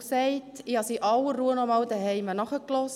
Ich habe es in aller Ruhe zu Hause nochmals nachgehört.